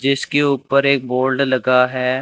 जिसके ऊपर एक बोर्ड लगा है।